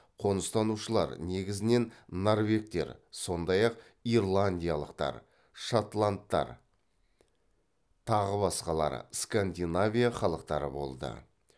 қоныстанушылар негізінен норвегтер сондай ақ ирландиялықтар шотландтар тағы басқалары скандинавия халықтары болды